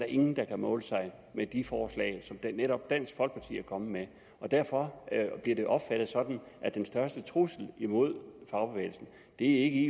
ingen der kan måle sig med de forslag som netop dansk folkeparti er kommet med derfor bliver det opfattet sådan at den største trussel imod fagbevægelsen ikke